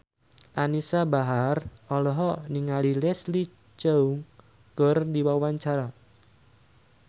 Anisa Bahar olohok ningali Leslie Cheung keur diwawancara